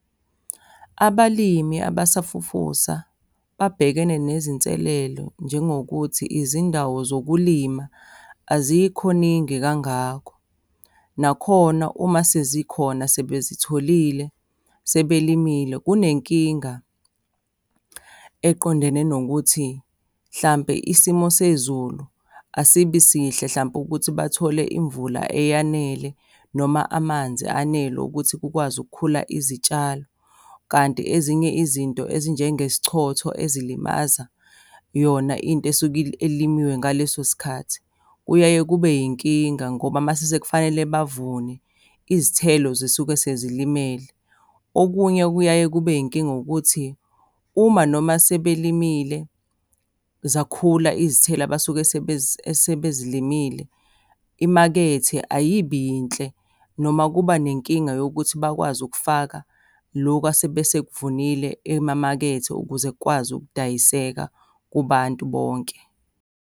Abalimi abasafufusa babhekene nezinselelo njengokuthi izindawo zokulima azikho ningi kangako. Nakhona uma sezikhona sebezitholile, sebelimile, kunenkinga eqondene nokuthi mhlampe isimo sezulu asibi sihle hlampe ukuthi bathole imvula eyanele noma amanzi anele ukuthi kukwazi ukukhula izitshalo. Kanti ezinye izinto ezinjengesichotho ezilimaza yona into esuke elinyiwe ngaleso sikhathi, kuyaye kube yinkinga ngoba mase kufanele bavune, izithelo zisuke sezilimele. Okunye okuyaye kube yinkinga ukuthi, uma noma sebelimile, zakhula izithelo abasuke esebezilimile, imakethe ayibi yinhle, noma kuba nenkinga yokuthi bakwazi ukufaka loku asebe sekuvunile emamakethe ukuze kukwazi ukudayiseka kubantu bonke.